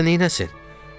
Bu yaşda neyləsin?